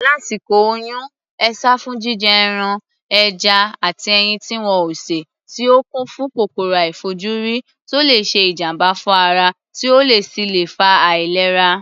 Lásìkò oyún, e sá fún jíjẹ ẹran, ẹja àti ẹyin tí wọn ò sè tí ó kún fún kòkòrò àìfojúrí tó le ṣe ìjàm̀bá fún ara, tí ó sì lè fa àìlera.